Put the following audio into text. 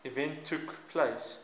event took place